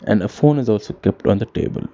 And the phone is also kept on the table.